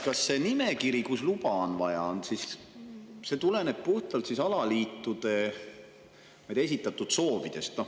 Kas see nimekiri, mille puhul luba on vaja, tuleneb puhtalt alaliitude soovidest?